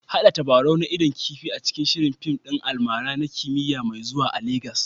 Haɗa tabarau na idon kifi a cikin shirin fim ɗin almara na kimiyya mai zuwa a Legas